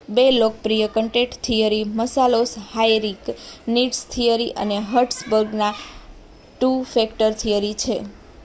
બે લોકપ્રિય content theory Maslow's hierarchy needs theory અને હર્ટ્ઝબર્ગની ટુ ફેક્ટર થિયરી છે